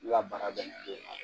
baara